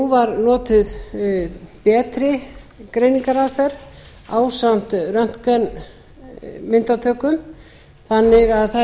var notuð betri greiningaraðferð ásamt röntgenmyndatökum þannig að það er